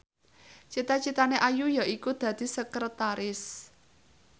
cita citane Ayu yaiku dadi sekretaris